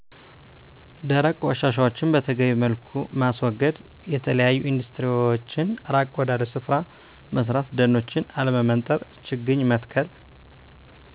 ደረቅ ቆሻሻዎችን በተገቢዉ መልኩ ማስወገድ፣ የተለያዮ ኢንዱስትሪዎችን ራቅ ወዳለ ስፍራ መስራት ደኖችን አለመመንጠር፣ ችግኝ መትከል